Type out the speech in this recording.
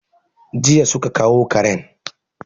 Jiya su ka kawo karen.